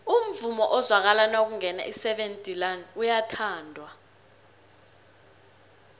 umvumo ozwakala nakungena iseven delaan uyathandwa